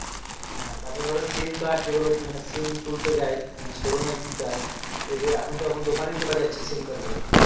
হ্যাঁ তারপর ধরো sim card যেগুলো মানে sim তুলতে যাই মানে show room যাই এগুলো এখন তো এখন দোকানে তোলা যাচ্ছে sim card গুলো